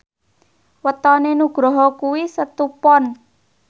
wetone Nugroho kuwi Setu Pon